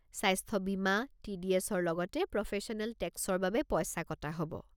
স্বাস্থ্য বীমা, টি.ডি.এছ.ৰ লগতে প্ৰফেশ্যনেল টেক্সৰ বাবে পইচা কটা হ'ব।